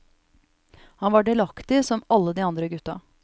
Han var delaktig som alle de andre gutta.